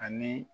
Ani